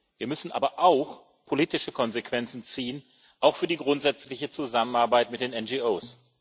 Wir müssen aber auch politische Konsequenzen ziehen auch für die grundsätzliche Zusammenarbeit mit den NGOs.